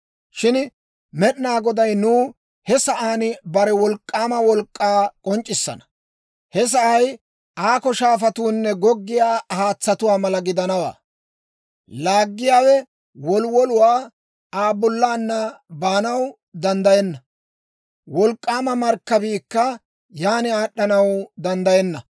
Shin Med'inaa Goday nuw he sa'aan bare wolk'k'aama wolk'k'aa k'onc'c'issana. He sa'ay aakko shaafatuunne goggiyaa haatsatuwaa mala gidanawaa. Laaggiyaa woluwoluu Aa bollaanna baanaw danddayenna; wolk'k'aama markkabiikka yaana aad'anaw danddayenna.